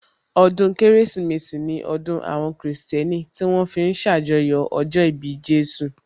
Ọdún Kérésìmesì ní ọdún àwọn kìrìsìtẹ́nì tí wón fi ń ṣàjọyọ̀ ọjọ́ ìbí Jésù